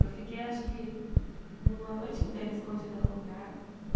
Eu fiquei, acho que, uma noite inteira escondida num lugar.